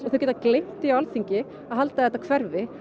þau geta gleymt því á Alþingi að halda að þetta hverfi